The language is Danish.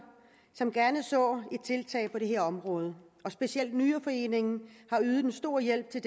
som gerne ser et tiltag på dette område og specielt nyreforeningen har ydet en stor hjælp til